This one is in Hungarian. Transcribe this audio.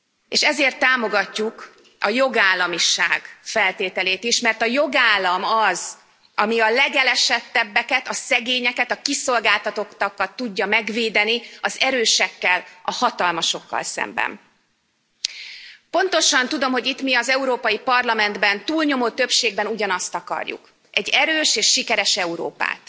És ezért támogatjuk a jogállamiság feltételét is, mert a jogállam az, ami a legelesettebbeket, a szegényeket, a kiszolgáltatottakat tudja megvédeni az erősekkel, a hatalmasokkal szemben. Pontosan tudom, hogy itt mi az Európai Parlamentben túlnyomó többségben ugyanazt akarjuk, egy erős és sikeres Európát.